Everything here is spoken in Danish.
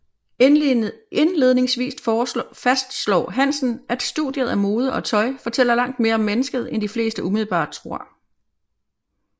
Indledningsvist fastslår Hansen at studiet af mode og tøj fortæller langt mere om mennesket end de fleste umiddelbart tror